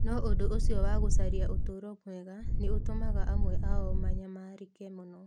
No ũndũ ũcio wa gũcaria ũtũũro mwega nĩ ũtũmaga amwe ao manyamarĩke mũno.